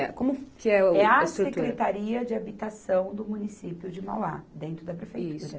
É como que é o. É a secretaria de habitação do município de Mauá, dentro da prefeitura.